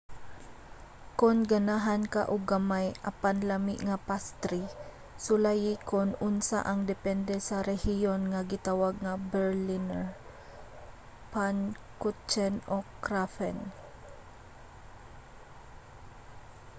kon ganahan ka og gamay apan lami nga pastri sulayi kon unsa ang depende sa rehiyon nga gitawag nga berliner pfannkuchen o krapfen